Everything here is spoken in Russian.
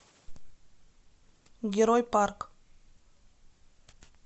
герой парк